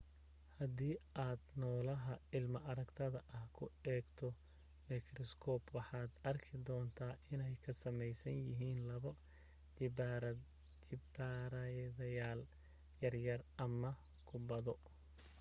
hadii aad noolaha ilma aragtayga ah ku eegto mikriskoob waxaad arki doontaa inay ka samaysan yihiin laba jibbaaranayaal yaryar ama kubbado